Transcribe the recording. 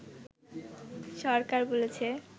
সরকার বলেছে